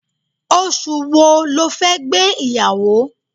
Oṣù wo le fẹ́ gbé ìyàwó?